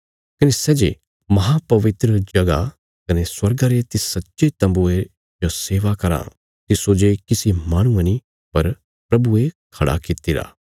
कने सै जे महां पवित्र जगह कने स्वर्गा रे तिस सच्चे तम्बुये च सेवा कराँ तिस्सो जे किसी माहणुये नीं पर प्रभुये खड़ा कित्तिरा